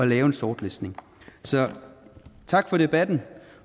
lave en sortlistning så tak for debatten